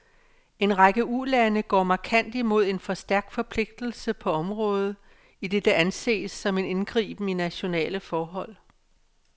En række ulande går markant imod en for stærk forpligtelse på området, idet det anses som en indgriben i nationale forhold.